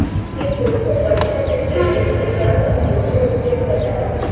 જે કોલસો બળતણ તરીકે ગરીબ પરિવારો અને મજૂરો ઉપયોગ કરતા હતા